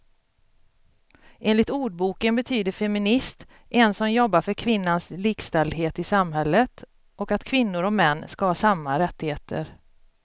Enligt ordboken betyder feminist en som jobbar för kvinnans likställdhet i samhället och att kvinnor och män ska ha samma rättigheter.